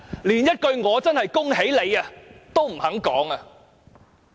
連一句"我真的恭喜你"也不肯說。